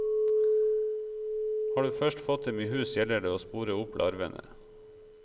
Har du først fått dem i hus gjelder det å spore opp larvene.